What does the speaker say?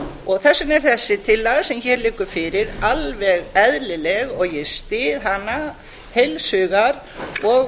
þess vegna er þessi tillaga sem hér liggur fyrir alveg eðlileg og ég styð hana heils hugar og